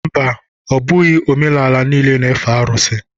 Mba, ọ bụghị amaala niile na-efe arụsị.